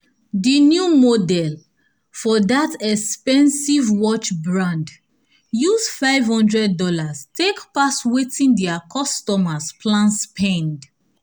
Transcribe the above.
di new model for dat expensive watch brand use five hundred dollars take pass wetin dia customers plan spend